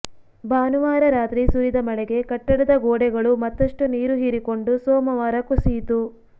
ಭಾನುವಾರ ರಾತ್ರಿ ಸುರಿದ ಮಳೆಗೆ ಕಟ್ಟಡದ ಗೋಡೆಗಳು ಮತ್ತಷ್ಟು ನೀರು ಹೀರಿಕೊಂಡು ಸೋಮವಾರ ಕುಸಿಯಿತು